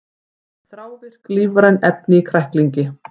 Þrávirk lífræn efni í kræklingi